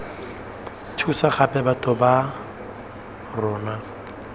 thusa gape batho ba rona